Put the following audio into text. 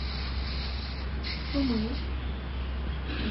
сумы